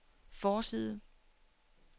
forside